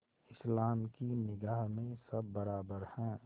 इस्लाम की निगाह में सब बराबर हैं